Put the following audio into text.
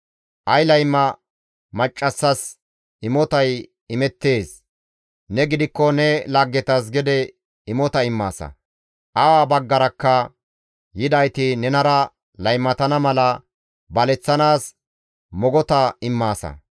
Ay layma maccassas imotay imettees; ne gidikko ne laggetas gede imota immaasa; awa baggarakka yidayti nenara laymatana mala baleththanaas mogota immaasa.